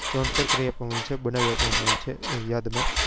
જાણકાર કરી આપવા માં આવ્યું છે બનાવી આપવા માં આવ્યું છે યાદ માં